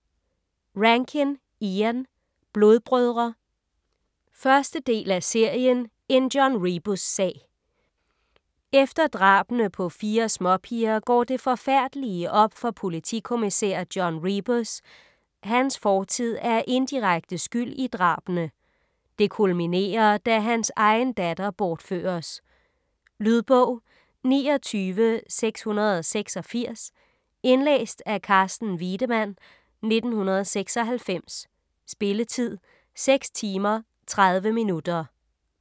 Rankin, Ian: Blodbrødre 1. del af serien En John Rebus-sag. Efter drabene på fire småpiger går det forfærdelige op for politikommissær John Rebus: hans fortid er indirekte skyld i drabene. Det kulminerer, da han egen datter bortføres. Lydbog 29686 Indlæst af Carsten Wiedemann, 1996. Spilletid: 6 timer, 30 minutter.